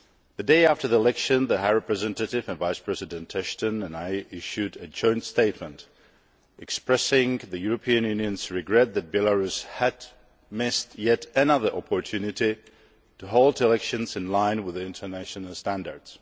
The day after the election, the High Representative and Vice President Ashton and I issued a joint statement expressing the European Union's regret that Belarus had missed yet another opportunity to hold elections in line with international standards.